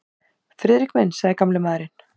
Friðrik minn sagði gamli maðurinn.